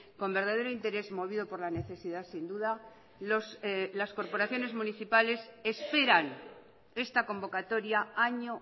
con verdadero interés movido por la necesidad sin duda las corporaciones municipales esperan esta convocatoria año